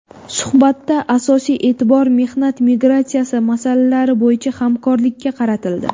Suhbatda asosiy e’tibor mehnat migratsiyasi masalalari bo‘yicha hamkorlikka qaratildi.